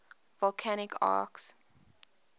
volcanic arcs